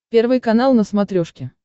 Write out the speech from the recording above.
первый канал на смотрешке